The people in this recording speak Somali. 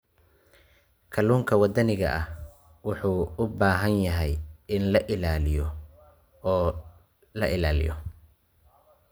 Kalluunka waddaniga ahi wuxuu u baahan yahay in la ilaaliyo oo la ilaaliyo.